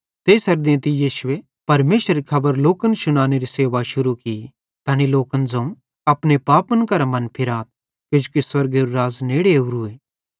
तेइसेरू देंतू यीशुए परमेशरेरी खबर लोकन शुनानेरी सेवा शुरू की तैनी लोकन ज़ोवं अपने पापन करां मनफिराथ किजोकि स्वर्गेरू राज़ नेड़े ओरूए